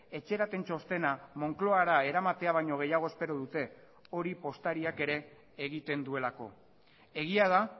etxerapen txostena moncloara eramatea baino gehiago espero dute hori postariak ere egiten duelako egia da